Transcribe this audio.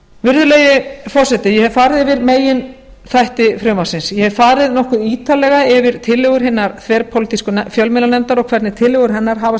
virðulegi forseti ég hef farið yfir meginþætti frumvarpsins ég hef farið nokkuð ítarlega yfir tillögur hinnar þverpólitísku fjölmiðlanefndar og hvernig tillögur hennar hafa